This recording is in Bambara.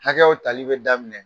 Hakɛyaw tali bɛ daminɛ